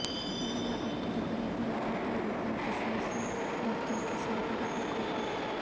ملا عبدالغنی برادر طالبان کے سیاسی دفتر کے سربراہ مقرر